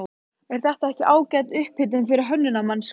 Er þetta ekki ágæt upphitun fyrir Hönnunarmars, Gunnar?